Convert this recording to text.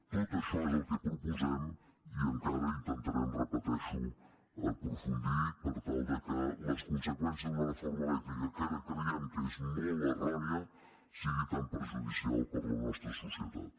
tot això és el que proposem i encara intentarem ho repeteixo aprofundir per tal que les conseqüències d’una reforma elèctrica que creiem que és molt errònia no sigui tan perjudicial per a la nostra societat